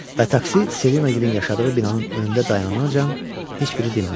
Və taksi Selina gilənin yaşadığı binanın önündə dayananca heç biri dinmədi.